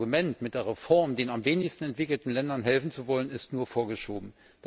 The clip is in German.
Das Argument, mit der Reform den am wenigsten entwickelten Ländern helfen zu wollen, ist nur vorgeschoben.